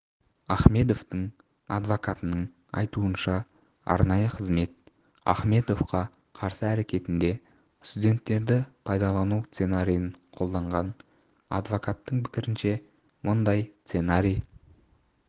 ахмедовтің адвокатының айтуынша арнайы қызмет ахмедовка қарсы әрекетінде студенттерді пайдалану сценариін қолданған адвокаттың пікірінше мұндай сценарий